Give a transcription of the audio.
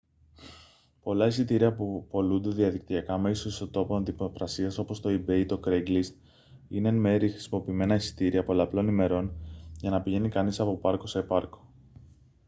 πολλά εισιτήρια που πωλούνται διαδικτυακά μέσω ιστότοπων δημοπρασίας όπως το ebay ή το craigslist είναι εν μέρει χρησιμοποιημένα εισιτήρια πολλαπλών ημερών για να πηγαίνει κανείς από πάρκο σε πάρκο